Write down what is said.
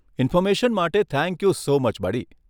Information માટે thank you so much બડી.